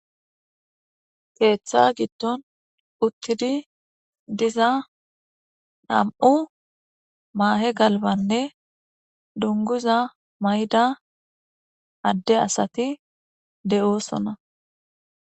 keeththa giddon uttidi diza nam7u maahe galbanne dunguza mayda adde asati de7oosona